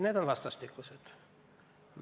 Need on vastastikused.